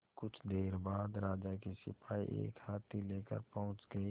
कुछ देर बाद राजा के सिपाही एक हाथी लेकर पहुंच गए